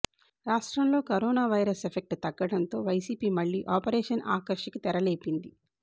రాష్ట్రంలో corona virus effect తగ్గడంతో వైసిపి మళ్ళీ ఆపరేషన్ ఆకర్ష్ కి తెరలేపింది